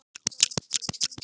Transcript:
Ein ætti að duga vel.